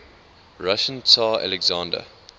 russian tsar alexander